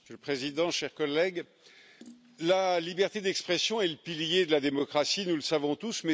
Monsieur le Président, chers collègues, la liberté d'expression est le pilier de la démocratie, nous le savons tous.